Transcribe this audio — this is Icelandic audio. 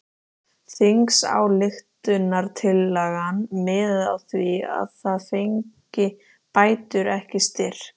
Þingsályktunartillagan miðaði að því að ég fengi bætur ekki styrk!